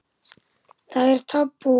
Það er tabú.